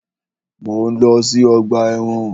Mọ̀ ń lọ sí ọgbà ẹ̀wọ̀n.